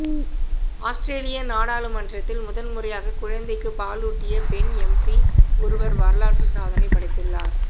ஆஸ்திரேலிய நாடாளுமன்றத்தில் முதல்முறையாக குழந்தைக்கு பாலூட்டிய பெண் எம்பி ஒருவர் வரலாறு சாதனை படைத்துள்ளார்